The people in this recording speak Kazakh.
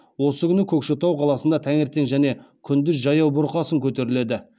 осы күні көкшетау қаласында таңертең және күндіз жаяу бұрқасын көтеріледі